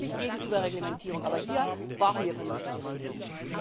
Ich bin wirklich gegen Überreglementierung, aber hier brauchen wir vernünftige Regelungen.